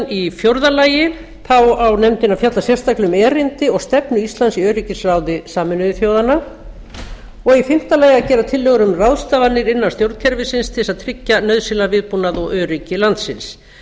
í fjórða lagi á nefndin að fjalla sérstaklega um erindi og stefnu íslands í öryggisráði sameinuðu þjóðanna í fimmta lagi að gera tillögur um ráðstafanir innan stjórnkerfisins til að tryggja nauðsynlegan viðbúnað og öryggi landsins